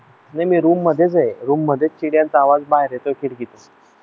नाही मी रूम मध्येच आहे रूम मध्ये चिडिया चा आवाज बाहेर येतोय खिडकीतून